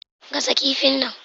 Gasa kifin nan!